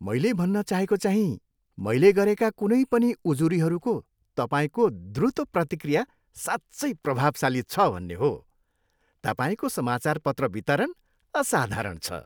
मैले भन्न चाहेको चाहीँ मैले गरेका कुनै पनि उजुरीहरूको तपाईँको द्रुत प्रतिक्रिया साँच्चै प्रभावशाली छ भन्ने हो। तपाईँको समाचारपत्र वितरण असाधारण छ।